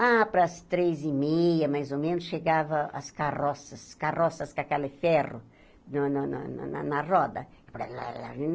Ah, para as três e meia, mais ou menos, chegavam as carroças, carroças com aquele ferro no no no na roda. Balalala